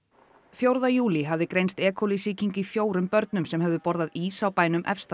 fjórða júlí hafði greinst e coli sýking í fjórum börnum sem höfðu borðað ís á bænum Efstadal